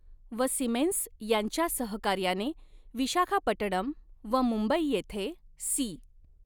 व सीमेन्स यांच्या सहकार्याने विशाखापटणम व मुंबई येथे सी.